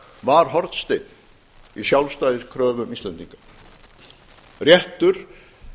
var hornsteinn í sjálfstæðiskröfum íslendinga réttur